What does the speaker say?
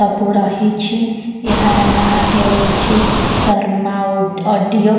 ବୁ ରହିଛି ଏହାର ନାଁ ହେଉଅଛି ଶର୍ମା ଉଡ ଅଡିଓ ।